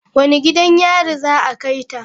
Wane gidan yari za a kai ta?